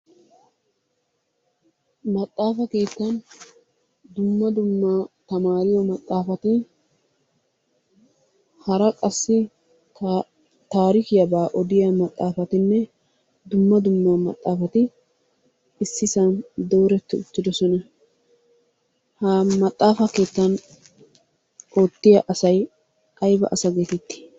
Maxaafa keettan dumma dumma tammaariyo maxaafati hara qassi tarikkiyabaa odiya maxaafatinne dumma dumma maxaafati ississan dooreti uttiddossona. Ha maxaafa keettan asay ayba asa getetti?